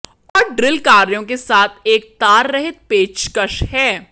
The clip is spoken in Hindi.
और ड्रिल कार्यों के साथ एक ताररहित पेचकश है